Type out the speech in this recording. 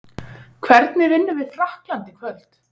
Hvernig vinnum við Frakkland í kvöld?